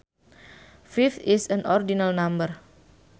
Fifth is an ordinal number